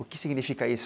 O que significa isso?